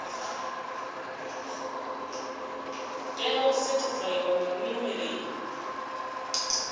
tea u sethifaiwa nga muimeli